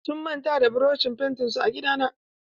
Sun manta da burushin fentin su a gidana.